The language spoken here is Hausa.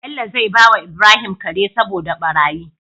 Bello zai bawa Ibrahim Kare saboda barayi